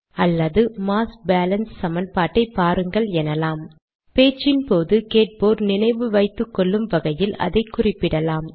அல்லது mass balance சமன்பாட்டை பாருங்கள் எனலாம் பேச்சின்போது கேட்போர் நினைவு வைத்துக்கொள்ளும் வகையில் அதை குறிப்பிடலாம்